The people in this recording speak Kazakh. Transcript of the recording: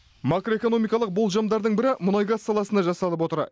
макроэкономикалық болжамдардың бірі мұнай газ саласына жасалып отыр